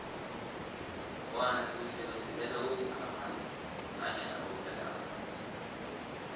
wona siwusebenzisela ukhukha nanyana ukubeka amanzi